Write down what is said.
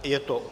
Je to